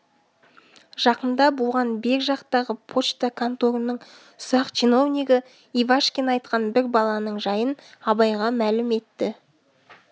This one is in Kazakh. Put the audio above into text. жақында буған бер жақтағы почта конторының ұсақ чиновнигі ивашкин айтқан бір баланың жайын абайға мәлім етті